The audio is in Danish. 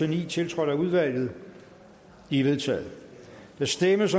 ni tiltrådt af udvalget de er vedtaget der stemmes